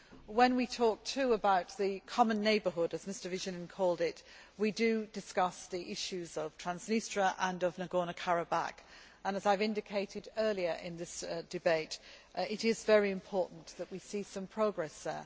When we talk too about the common neighbourhood, as Mr Vigenin called it, we discuss the issues of Transnistria and of Nagorno Karabakh and, as I have indicated earlier in this debate, it is very important that we see some progress there.